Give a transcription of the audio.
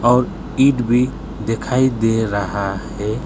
और ईंट भी दिखाई दे रहा है।